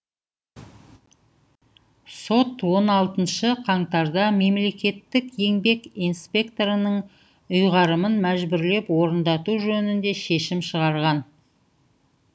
сот он алтыншы қаңтарда мемлекеттік еңбек инспекторының ұйғарымын мәжбүрлеп орындату жөнінде шешім шығарған